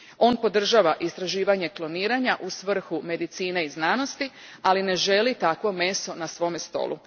On podržava istraživanje kloniranja u svrhu medicine i znanosti, ali ne želi takvo meso na svome stolu.